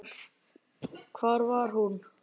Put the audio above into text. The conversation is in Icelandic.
Hvar var hún?